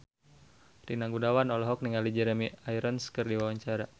Rina Gunawan olohok ningali Jeremy Irons keur diwawancara